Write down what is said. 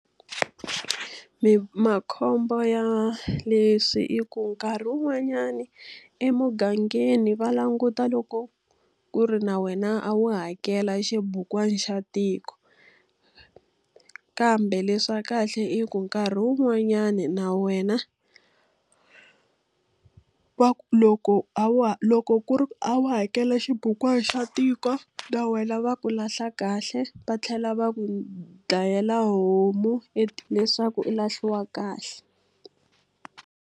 Makhombo ya leswi i ku nkarhi wun'wanyani emugangeni va languta loko ku ri na wena a wu hakela xibukwana xa tiko. Kambe leswa kahle i ku nkarhi wun'wanyani na wena loko a wu loko ku ri ku a wu hakela xibukwana xa tiko, va wena va ku lahla kahle va tlhela va ku dlayela homu leswaku u lahliwa kahle.